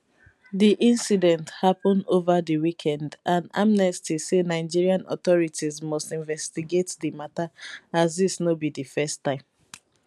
di incident happun over di weekend and amnesty say nigeria authorities must investigate di matter as dis no be di first time